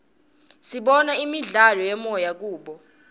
sibona imidlalo yemoya kubo